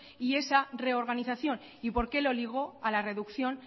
y esa reorganización y por qué lo ligó a la reducción